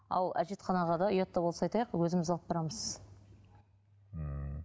ал әжетханаға да ұят та болса айтайық өзіміз алып барамыз ммм